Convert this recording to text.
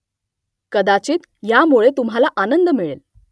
कदाचित ह्यामुळे तुम्हाला आनंद मिळेल